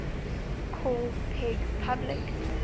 called peg public